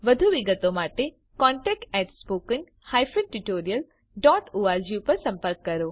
વધુ વિગતો માટે contactspoken tutorialorg પર સંપર્ક કરો